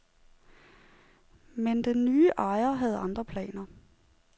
Men den nye ejer havde andre planer.